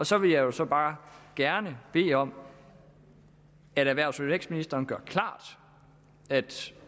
så vil jeg jo så bare gerne bede om at erhvervs og vækstministeren gør klart at